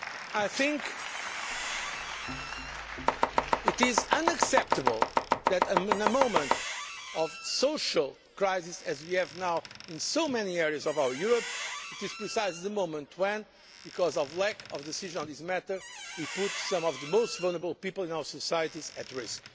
I think it is unacceptable that a time of social crisis, such as we have now in so many areas of Europe, is precisely the moment when, because of lack of decision on this matter, we put some of the most vulnerable people in our societies at